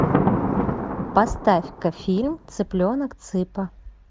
поставь ка фильм цыпленок цыпа